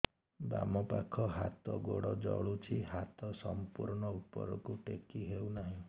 ବାମପାଖ ହାତ ଗୋଡ଼ ଜଳୁଛି ହାତ ସଂପୂର୍ଣ୍ଣ ଉପରକୁ ଟେକି ହେଉନାହିଁ